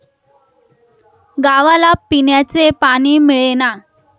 गावाला पिण्याचे पाणी मिळेना.